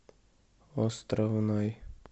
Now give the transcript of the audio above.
островной